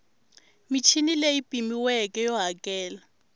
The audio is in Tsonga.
michini leyi pimiweke yo hakela